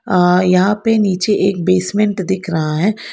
हां यहां पे नीचे एक बेसमेंट दिख रहा है।